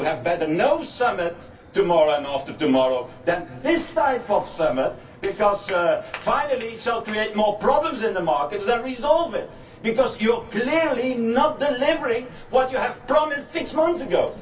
Maybe you had better have no summit tomorrow and the day after tomorrow than this type of summit, because in the end it will create more problems in the market than it resolves, because you are clearly not delivering what you promised six months ago.